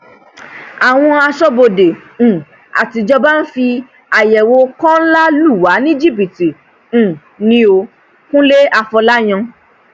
àwọn aṣọbodè um àtijọba ń fi àyẹwò kóńlá lù wá ní jìbìtì um ni ó kúnlẹ afọlàyàn